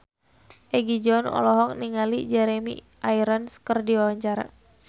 Egi John olohok ningali Jeremy Irons keur diwawancara